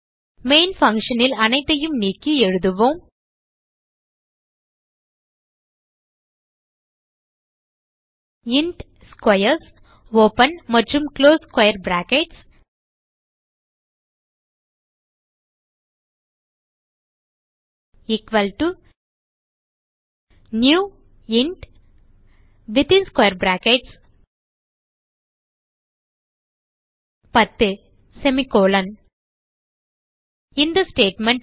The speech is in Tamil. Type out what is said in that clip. மெயின் function ல் அனைத்தையும் நீக்கி எழுதுவோம் இன்ட் ஸ்க்வேர்ஸ் நியூ இன்ட் 10 இந்த ஸ்டேட்மெண்ட்